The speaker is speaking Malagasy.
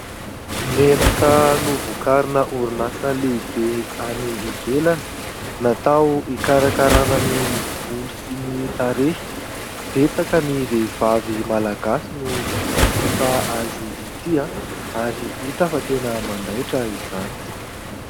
Menaka novokarina orinasa lehibe any ivelany, natao hikarakarana ny volo sy ny tarehy. Betsaka ny vehivavy malagasy no manjifa azy ity ary hita fa tena mandaitra izany.